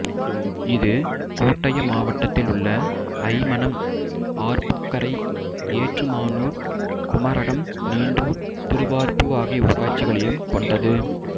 இது கோட்டயம் மாவட்டத்தில் உள்ள அய்மனம் ஆர்ப்பூக்கரை ஏற்றுமானூர் குமரகம் நீண்டூர் திருவார்ப்பு ஆகிய ஊராட்சிகளையும் கொண்டது